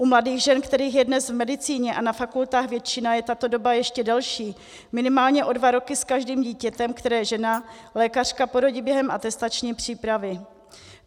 U mladých žen, kterých je dnes v medicíně a na fakultách většina, je tato doba ještě delší, minimálně o dva roky s každým dítětem, které žena lékařka porodí během atestační přípravy.